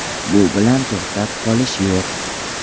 Bu bilan to‘xtab qolish yo‘q”.